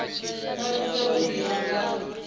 vha thusa u ḓivha nga